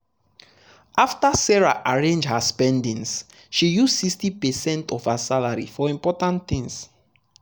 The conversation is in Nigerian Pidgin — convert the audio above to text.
after sarah arrange her spendings she use 60 percent of her salary for important things.